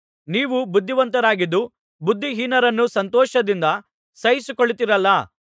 ನೀವು ಬುದ್ಧಿವಂತರಾಗಿದ್ದು ಬುದ್ಧಿಹೀನರನ್ನು ಸಂತೋಷದಿಂದ ಸಹಿಸಿಕೊಳ್ಳುತ್ತೀರಲ್ಲಾ